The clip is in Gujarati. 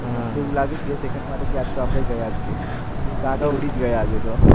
એવુ લગ્યો બે સેકન્ડ માટે આ જ તો આપણે ગયા જ કે કાકા ઉડી ગયા આજે તો